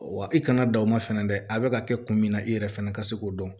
Wa i kana da o ma fɛnɛ dɛ a bɛ ka kɛ kun min na i yɛrɛ fana ka se k'o dɔn